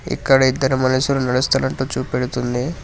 ఇక్కడ ఇద్దరు మనుషులు నడుస్తున్నట్టు చూపెడుతుంది.